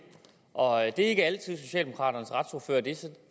og det er ikke altid at socialdemokraternes retsordfører er det så det